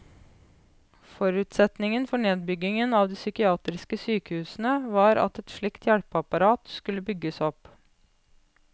Forutsetningen for nedbyggingen av de psykiatriske sykehusene var at et slikt hjelpeapparat skulle bygges opp.